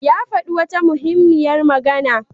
Ya faɗi wata muhimmiyar magana.